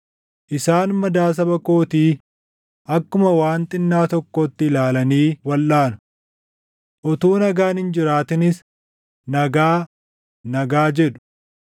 Isaan madaa saba kootii akkuma waan xinnaa tokkootti ilaalanii walʼaanu. Utuu nagaan hin jiraatinis ‘Nagaa, nagaa’ jedhu.